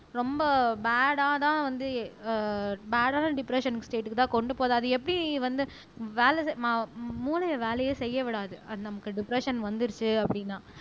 ரொம்ப பேடாதான் வந்து ஆஹ் பேடான டிப்ரஸ்ஸன் ஸ்டேட்க்குதான் கொண்டு போகுது அது எப்படி வந்து வேலை ம மூளையை வேலையே செய்ய விடாது அது நமக்கு டிப்ரஸ்ஸன் வந்திடுச்சு அப்படின்னா